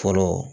Fɔlɔ